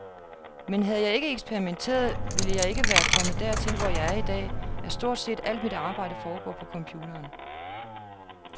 Men havde jeg ikke eksperimenteret, ville jeg ikke være kommet dertil, hvor jeg er i dag, at stort set alt mit arbejde foregår på computeren.